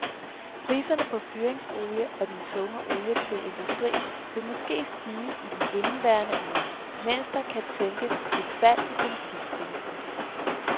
Prisen på fyringsolie og den tunge olie til industrien vil måske stige i indeværende uge, mens der kan tænkes et fald i benzinprisen.